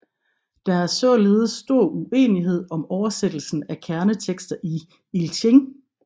Der er således stor uenighed om oversættelsen af kerneteksten i I Ching